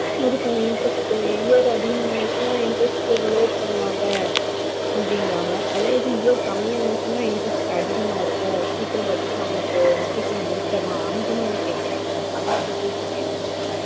இதுக்கான interest டும் year அதிகமா அசினை interest load பண்ணுவாங்க அப்புடின்னுவாங்க அத இது year கம்மி அசினை interest அதிகமா இருக்கும் சீக்கிரம் கட்டுன சீக்கிரம் முடிச்சிடலாம் அந்த மாதிரி கேக்குறேன்